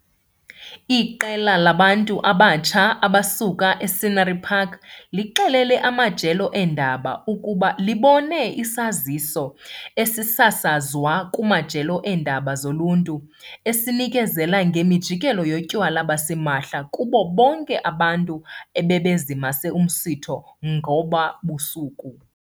Iqela labantu abatsha abasuka e-Scenery Park lixelele amajelo eendaba ukuba libone isaziso esisasazwa kumajelo eendaba zoluntu, esinikezela ngemijikelo yotywala basimahla kubo bonke abantu abebezimase umsitho ngoba busuku.